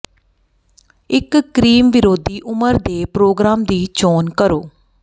ਇੱਕ ਕਰੀਮ ਵਿਰੋਧੀ ਉਮਰ ਦੇ ਪ੍ਰੋਗਰਾਮ ਦੀ ਚੋਣ ਕਰੋ